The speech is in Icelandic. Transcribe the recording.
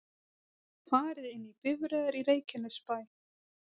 Farið inn í bifreiðar í Reykjanesbæ